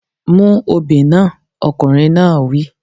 Mú obì náà! Ọkùnrin náà wí.